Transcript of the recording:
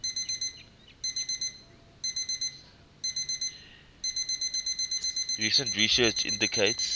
recent research indicates